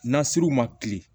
Nasiriw ma kile